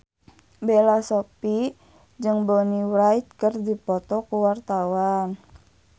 Bella Shofie jeung Bonnie Wright keur dipoto ku wartawan